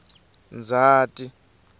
ndzati